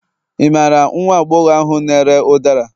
ị mara nwagbogor ahu n'ere ụdara